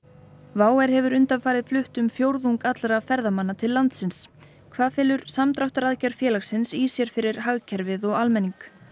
WOW hefur undanfarið flutt um fjórðung allra ferðamanna til landsins hvað felur samdráttaraðgerð félagsins í sér fyrir hagkerfið og almenning